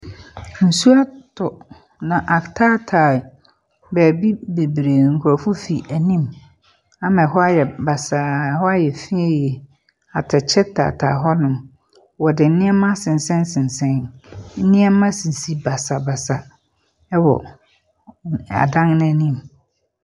Nsuo atɔ na ataataa baabi bebree, nkorofo fi anim ama ɛhɔ ayɛ basaa ɛhɔ ayɛ fin yie. Atɛkyɛ taataa hɔnom. Ɔde neɛma asensɛn sensɛn, neɛma sisi basabasa ɛwɔ adan na anim.